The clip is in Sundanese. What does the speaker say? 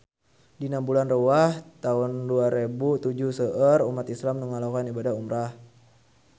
Dina bulan Rewah taun dua rebu tujuh seueur umat islam nu ngalakonan ibadah umrah